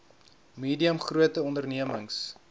medium grote ondememings